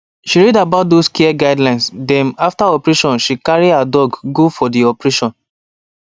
she read about those care guidelines dem after operation before she carry her dog go for d operation